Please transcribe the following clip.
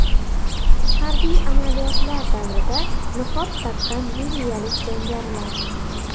Harbiy amaliyotlar davrida niqob taqqan liviyalik jangarilar.